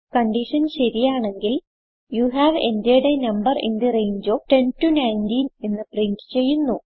condition ശരിയാണെങ്കിൽ you have entered a number in the range of 10 19 എന്ന് print ചെയ്യുന്നു